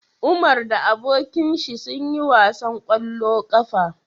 Umar da abokinshi sun yi wasan kwallo kafa